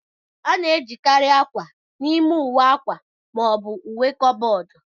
A na-ejikarị akwa n'ime ụwe akwa ma ọ bụ uwe kaboodu.